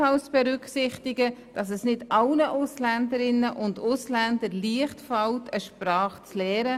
Es fällt auch nicht allen Ausländerinnen und Ausländern leicht, eine Sprache zu lernen.